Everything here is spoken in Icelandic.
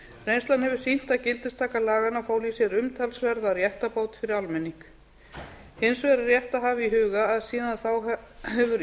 reynslan hefur sýnt að gildistaka laganna fól í sér umtalsverða réttarbót fyrir almenning hins vegar er rétt að hafa í huga að síðan þá hefur